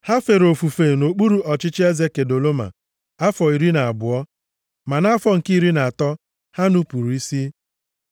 Ha fere ofufe nʼokpuru ọchịchị eze Kedoloma afọ iri na abụọ, ma nʼafọ nke iri na atọ, ha nupuru isi.